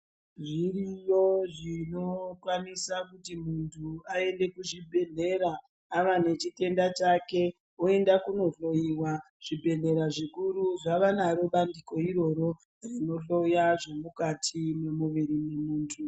Zviriyo zvinokwanisa kuti muntu aende kuchibhedhlera, ava nechitenda chake, oenda kunohloiwa. Zvibhedhlera zvikuru zvava naro bandiko iroro rinohloya zvemukati memuviri memunthu.